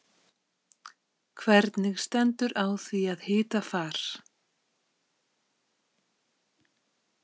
Hvernig stendur á því að hitafar.